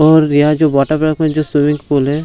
और यहाँ जो वाटरपार्क में जो स्विमिंग पूल है।